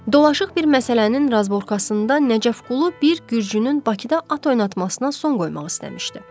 Dolaşıq bir məsələnin razborkasında Nəcəfqulu bir gürcünün Bakıda at oynatmasına son qoymaq istəmişdi.